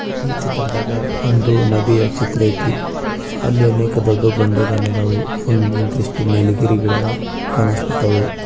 ಈ ಚಿತ್ರದಾಗ ಒಂದು ನದಿಯ ಚಿತ್ರ ಅಯ್ತಿ ಅಲ್ಲಿ ಅನೇಕ ದೊಡ್ಡ ಬಂಡೆಕಲ್ಲು ಅದವು ಒಂದಿಷ್ಟು ನೀಲಿಗಿರಿ ಗಿಡ ಕನಸ್ಲತವ್.